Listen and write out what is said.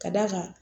Ka d'a kan